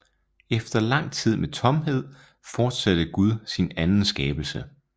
Efter lang tid med tomhed fortsatte Gud sin anden skabelse